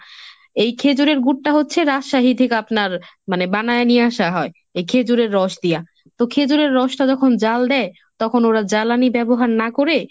এই খেজুরের গুড়টা হচ্ছে রাজশাহী থেকে আপনার মানে বানায় নিয়ে আসা হয় এই খেজুরের রস দিয়া, তো খেজুরের রসটা যখন জাল দেয় তখন ওরা জ্বালানি ব্যবহার না করে